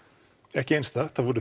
ekki einstakt það voru